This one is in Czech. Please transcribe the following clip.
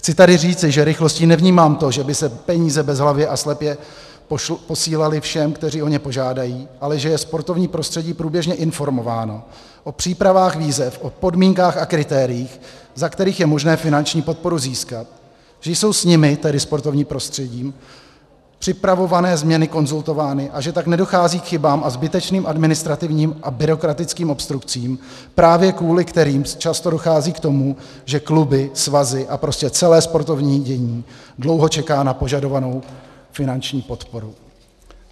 Chci tady říci, že rychlostí nevnímám to, že by se peníze bezhlavě a slepě posílaly všem, kteří o ně požádají, ale že je sportovní prostředí průběžně informováno o přípravách výzev, o podmínkách a kritériích, za kterých je možné finanční podporu získat, že jsou s nimi, tedy sportovním prostředím, připravované změny konzultovány a že tak nedochází k chybám a zbytečným administrativním a byrokratickým obstrukcím, právě kvůli kterým často dochází k tomu, že kluby, svazy a prostě celé sportovní dění dlouho čeká na požadovanou finanční podporu.